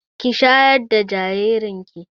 Ki shayar da jaririn ki!